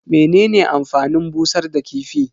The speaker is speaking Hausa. Menene amfanin busar da kifi?